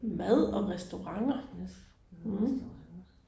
Hm hvad hvad står der nu